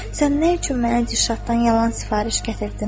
Sən nə üçün mənə Dilşaddan yalan sifariş gətirdin?